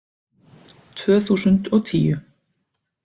Tvö þúsund og tíu